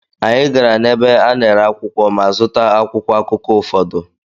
Anyị gara n’ebe a na-ere akwụkwọ ma zụta akwụkwọ akụkọ ụfọdụ.